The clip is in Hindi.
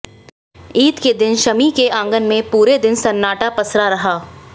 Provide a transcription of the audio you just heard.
ईद के दिन शमी के आंगन में पूरे दिन सन्नाटा पसरा रहा